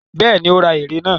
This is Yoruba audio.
Bẹ́ẹ̀ni, ó ra ère náà.